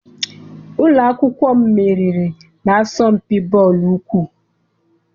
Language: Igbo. Ụlọ akwụkwọ m meriri na-asọmpi bọọlụ ụkwụ.